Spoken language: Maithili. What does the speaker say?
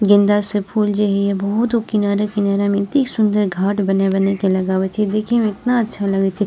गेंदा से फूल जे हई या बहुत ऊ किनारे-किनारे में एतेक सुन्दर घाट बना-बना के लगावे छै देखे में इतना अच्छा लगे छै।